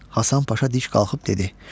Həsən Paşa dik qalıb dedi: